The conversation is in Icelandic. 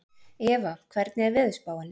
Eva, hvernig er veðurspáin?